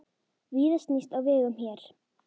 Víða snýst á vegum hér.